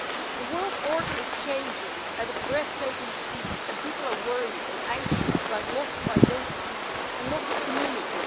The world order is changing at a breath taking speed, and people are worried and anxious about loss of identity and loss of community.